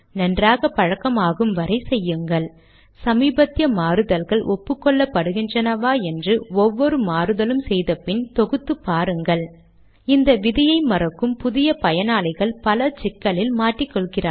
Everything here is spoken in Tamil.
தன்னம்பிக்கை பெறும் வரை ஒரு நேரத்தில் ஒன்றை மட்டும் மாற்றி கம்பைல் செய்து சரிதானா என்று உறுதி படுத்திக்கொள்க